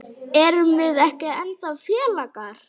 Erum við ekki ennþá félagar?